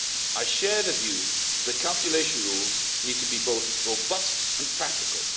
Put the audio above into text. I share the view that the calculation rules need to be both robust and practical.